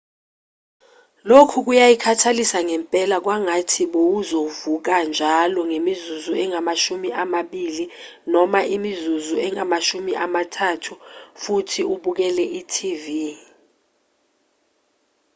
lokhu kuyakhathalisa ngempela kwangathi bowuzovuka njalo ngemizuzu engamashumi amabili noma imizuzu engamashumi amathathu futhi ubukele i-tv